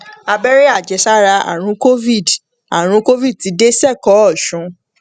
abẹrẹ àjẹsára àrùn covid àrùn covid ti dé sẹkọọ ọsùn